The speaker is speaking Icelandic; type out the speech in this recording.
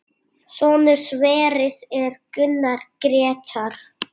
Sonur Sverris er Gunnar Grétar.